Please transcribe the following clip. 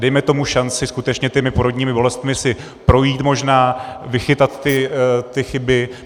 Dejme tomu šanci skutečně těmi porodními bolestmi si projít, možná vychytat ty chyby.